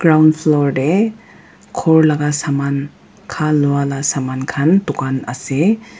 downfloor teh ghor laga saman kha lua lah saman khan dukan ase.